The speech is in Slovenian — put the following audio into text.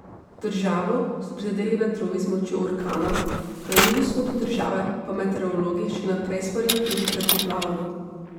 Državo so prizadeli vetrovi z močjo orkana, na jugovzhodu države pa meteorologi še naprej svarijo tudi pred poplavami.